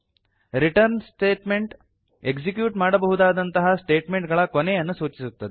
return statement execute ಮಾಡಬಹುದಾದಂತಹ statement ಗಳ ಕೊನೆಯನ್ನು ಸೂಚಿಸುತ್ತದೆ